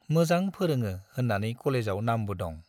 मोजां फोरोङो होन्नानै कलेजाव नामबो दं।